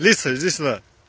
лица единственное